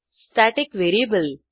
static variable